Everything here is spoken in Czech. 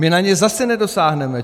My na ně zase nedosáhneme.